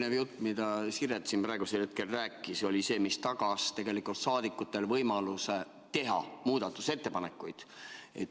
See jutt, mida Siret praegu rääkis, oli see, mis tegelikult tagas rahvasaadikutele võimaluse teha muudatusettepanekuid.